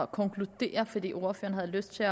konkludere fordi ordføreren har lyst til